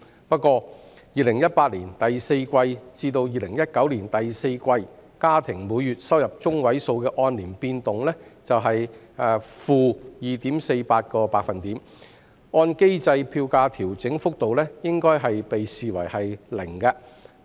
不過 ，2018 年第四季至2019年第四季家庭每月收入中位數的按年變動為 -2.48%， 按機制票價調整幅度應視為 0%。